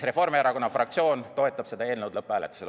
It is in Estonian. Reformierakonna fraktsioon toetab seda eelnõu lõpphääletusel.